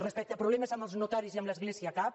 respecte a problemes amb notaris i amb l’església cap